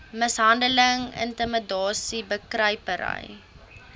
mishandeling intimidasie bekruipery